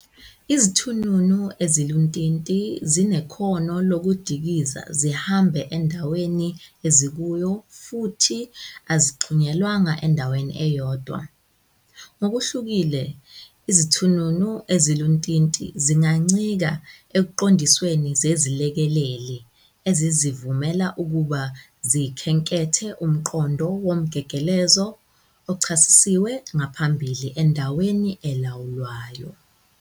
Izithununu eziluntinti zinekhono lokudikiza zihambe endaweni ezikuwo futhi azixhunyelwanga endaweni eyodwa. Ngokuhlukile, izithununu eziluntinti zingancika eziqondisweni zezilekeleli ezizivumela ukuba zikhenkethe umkhondo womgegelezo ochasisiwe ngaphambili endaweni elawulwayo.